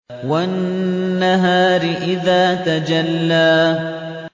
وَالنَّهَارِ إِذَا تَجَلَّىٰ